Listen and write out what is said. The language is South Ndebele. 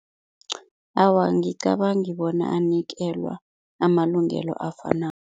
Awa, angicabangi bona anikelwa amalungelo afanako.